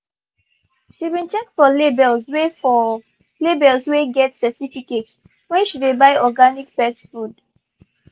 she been check for labels wey for labels wey get certificate when she dey buy organic pet food.